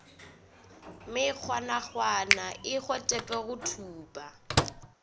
mekgwanakgwana e hwetpwe go thupa